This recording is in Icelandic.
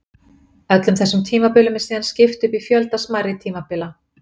Öllum þessum tímabilum er síðan skipt upp í fjölda smærri tímabila.